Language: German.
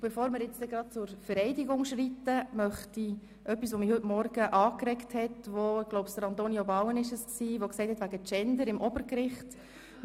Bevor wir zur Vereidigung kommen, möchte ich auch noch etwas zur Genderverteilung am Obergericht sagen.